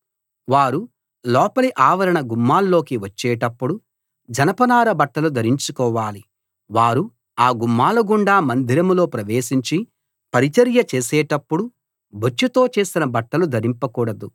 వారు లోపలి ఆవరణ గుమ్మాల్లోకి వచ్చేటప్పుడు జనపనార బట్టలు ధరించుకోవాలి వారు ఆ గుమ్మాల గుండా మందిరంలో ప్రవేశించి పరిచర్య చేసేటప్పుడు బొచ్చుతో చేసిన బట్టలు ధరింపకూడదు